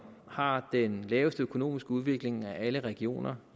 har den laveste økonomiske udvikling af alle regioner